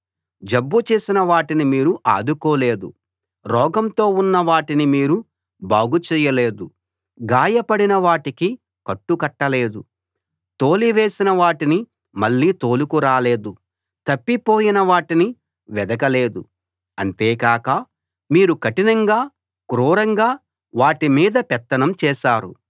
జబ్బు చేసిన వాటిని మీరు ఆదుకోలేదు రోగంతో ఉన్న వాటిని మీరు బాగుచేయలేదు గాయపడిన వాటికి కట్టు కట్టలేదు తోలివేసిన వాటిని మళ్ళీ తోలుకు రాలేదు తప్పిపోయిన వాటిని వెదకలేదు అంతేకాక మీరు కఠినంగా క్రూరంగా వాటి మీద పెత్తనం చేశారు